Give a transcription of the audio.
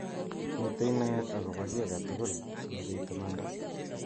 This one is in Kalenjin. Mitei naet akobo ki age tugul sikobit imanda,